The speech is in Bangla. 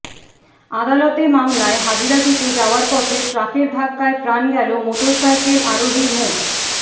আদালতে মামলায় হাজিরা দিতে যাওয়ার পথে ট্রাকের ধাক্কায় প্রাণ গেল মোটরসাইকেল আরোহী মো